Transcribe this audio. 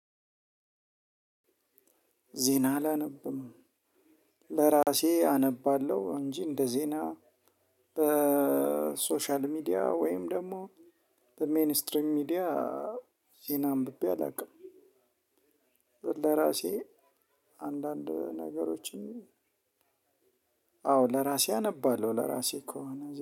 ዜና አላነብም ለራሴ አነባለሁ እንጂ እንደ ዜና በሶሻል ሚዲያ ወይም ደግሞ በሜንስትሪም ሚዲያ ዜና አንብቤ አላውቅም። ለራሴ አንዳንድ ነገሮችን። አዎ ለራሴ አነባለሁ ለራሴ ከሆነ